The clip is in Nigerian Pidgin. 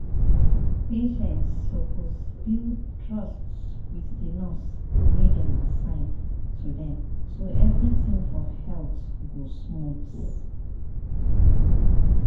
patients suppose build trust wit di nurse wey dem assign to dem so everything for health go smooth.